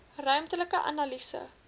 ruimtelike analise